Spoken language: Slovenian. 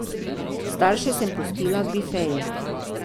Starše sem pustila v bifeju.